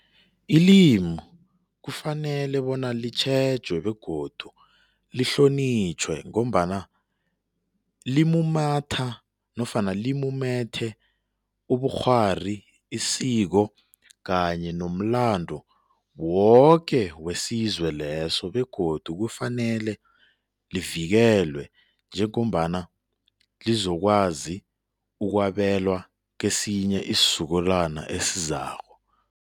Ilimu kufanele bona litjhejwe begodu lihlonitjhwe ngombana limumatha nofana limumethe ubukghwari, isiko kanye nomlando woke wesizwe leso begodu kufanele livikelwe njengombana lizokwazi ukwabelwa kesinye isizukulwana esizako.